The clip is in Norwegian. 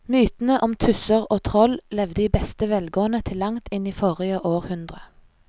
Mytene om tusser og troll levde i beste velgående til langt inn i forrige århundre.